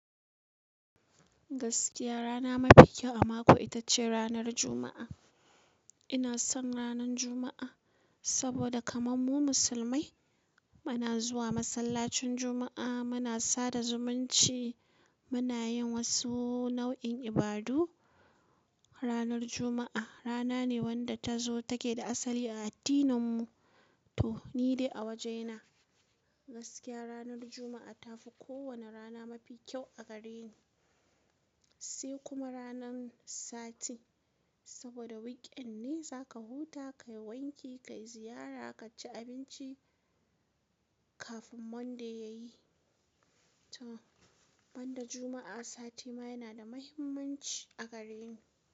Gaskiya rana mafi kyau a mako ita ce ranar Juma'a. Ina son ranar Juma'a saboda kaman mu musulmai muna zuwa masallacin Juma'a, muna sada zumunci, muna yin wasu nau'in ibadu. Ranar Juma'a rana ne wadda ta zo take da asali a addininmu to ni dai a wajena gaskiya ranar Juma'a ta fi kowane rana mafi kyau a gare ni. Sai kuma ranan sati saboda wikend ne zaka huta, kayi wanki, kayi ziyara, ka ci abinci kafin Monday ya yi to ban da Juma'a sati ma yana da muhimmanci a gare ni.